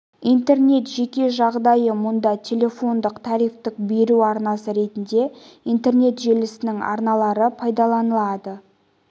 интернет жеке жағдайы мұнда телефондық трафикті беру арнасы ретінде интернет желісінің арналары пайдаланылады